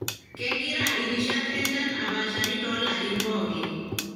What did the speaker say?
kengira irishat enchan apashari tolarin pooki.